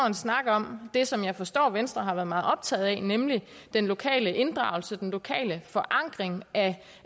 en snak om det som jeg forstår venstre har været meget optaget af nemlig den lokale inddragelse den lokale forankring af